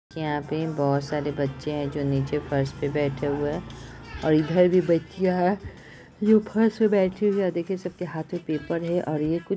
यहाँ पे बहुत सारे बच्चे है जो नीचे फर्श पर बैठे हुए है और इधर भी बचियाँ है जो फ़र्स पे बैठी हुई है और देखिए सबके हाथ मे पेपर है। और ये कुछ --